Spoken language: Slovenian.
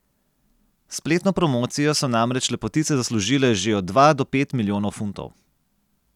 S spletno promocijo so namreč lepotice zaslužile že od dva do pet milijonov funtov.